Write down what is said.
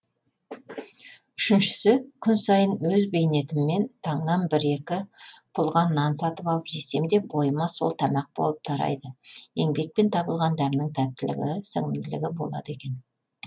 үшіншісі күн сайын өз бейнетіммен таңнан бір екі пұлға нан сатып алып жесем де бойыма сол тамақ болып тарайды еңбекпен табылған дәмнің тәттілігі сіңімділігі болады екен